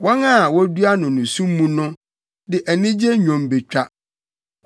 Wɔn a wodua no nusu mu no de anigye nnwom betwa.